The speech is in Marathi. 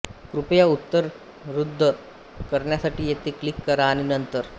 कृपया उत्तर रद्द करण्यासाठी येथे क्लिक करा आणि नंतर